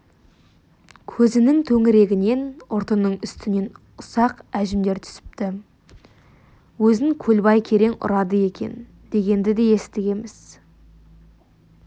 көзінің төңірегінен ұртының үстінен ұсақ әжімдер түсіпті өзін көлбай керең ұрады екен дегенді де естігеміз